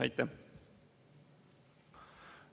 Aitäh!